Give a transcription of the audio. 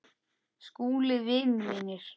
SKÚLI: Vinir mínir!